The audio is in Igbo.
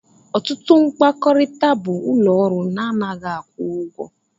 Ọtụtụ mkpakọrịta bụ ụlọ ọrụ na anaghị akwụ ụgwọ